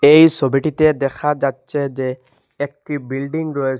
এই ছবিটিতে দেখা যাচ্চে যে একটি বিল্ডিং রয়ে --